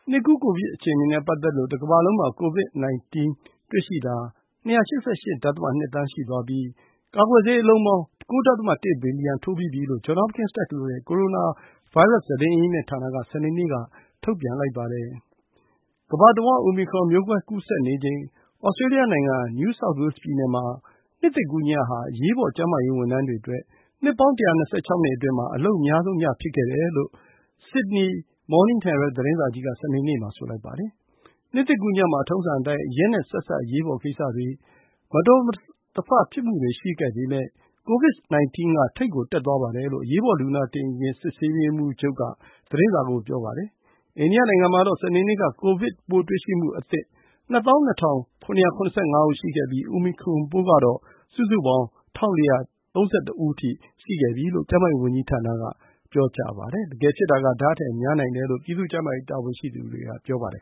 နှစ်ကူး ကိုဗစ်အခြေအနေနဲ့ ပတ်သက်လို့ တကမ္ဘာလုံးမှာ COVID-19 တွေ့ရှိတာ ၂၈၈ ဒသမ ၂ သန်း ရှိသွားပြီး ကာကွယ်ဆေးအလုံးပေါင်း ၉ ဒသမ ၁ ဘီလီယံ ထိုးပြီးပြီလို့ Johns Hopkins တက္ကသိုလ်ရဲ့ ကိုရိုနာဗိုင်းရပ်စ် သတင်းအရင်းအမြစ်ဌာနက စနေနေ့က ထုတ်ပြန်လိုက်ပါတယ်။ ကမ္ဘာတဝန်း အိုမီခရွန်မျိုးကွဲ ကူးစက်နေချိန် သြစတြေးလျနိုင်ငံ New South Wales ပြည်နယ်မှာ နှစ်သစ်ကူးညဟာ အရေးပေါ် ကျန်းမာရေးဝန်ထမ်းတွေအတွက် နှစ်ပေါင်း ၁၂၆ နှစ်အတွင်း အလုပ်အများဆုံးည ဖြစ်ခဲ့တယ်လို့ Sydney Morning Herald သတင်းစာကြီးက စနေနေ့မှာ ဆိုလိုက်ပါတယ်။ နှစ်သစ်ကူးညမှာ ထုံးစံအတိုင်း အရက်‌နဲ့ ဆက်စပ် အရေးပေါ်ကိစ္စတွေ၊ မတော်တဆဖြစ်မှုတွေ ရှိပေမယ့် COVID-19 က ထိပ်ကို တက်သွားပါတယ်လို့ အရေးပေါ် လူနာတင်ယာဉ် စစ်ဆေးရေးမှူး Kay Armstrong က သတင်းစာကို ပြောပါတယ်။ အိန္ဒိယနိုင်ငံမှာတော့ စနေနေ့က ကိုဗစ်ပိုးတွေ့ရှိမှုအသစ် ၂၂,၇၇၅ ဦး ရှိခဲ့ပြီး အိုမီခရွန်ပိုးကတော့ စုစေုပေါင်း ၁,၄၃၁ ဦး ရှိခဲ့ပြီလို့ ကျန်းမာရေးဝန်ကြီးဌာနက ပြောပါတယ်။ တကယ်ဖြစ်တာက ဒါ့ထက်များနိုင်တယ်လို့ ပြည်သူ့ကျန်းမာရေး တာဝန်ရှိသူတွေက ပြောပါတယ်